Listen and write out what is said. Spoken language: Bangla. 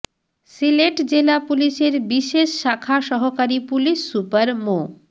সিলেট জেলা পুলিশের বিশেষ শাখা সহকারী পুলিশ সুপার মো